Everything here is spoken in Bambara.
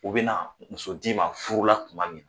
U be na muso d'i ma furula kuma min